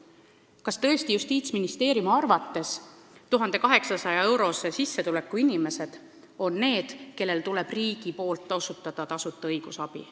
Kas tõesti on Justiitsministeeriumi arvates ka 1800-eurose sissetulekuga inimesed need, kellele riik peab tasuta õigusabi andma?